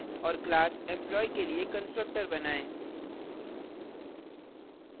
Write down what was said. और class employee के लिए constructor बनाएँ